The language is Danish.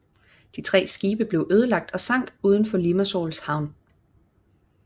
De tre skibe blev ødelagt og sank uden for Limassols havn